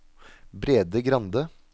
Brede Grande